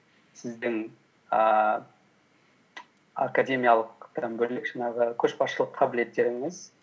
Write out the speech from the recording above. сіздің ііі академиялықтан бөлек жаңағы көшбасшылық қабілеттеріңіз